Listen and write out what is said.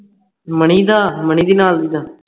ਮਣੀਂਦਾ ਮਹਿੰਦੀ ਨਾਲਦੀ ਦਾ